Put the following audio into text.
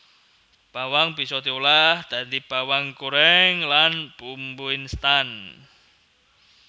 Bawang bisa diolah dadi bawang gorèng lan bumbu instan